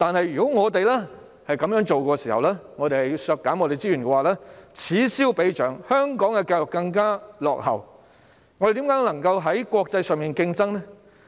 如果我們這樣削減資源，此消彼長，香港的教育便會更形落後，我們如何能夠在國際間競爭呢？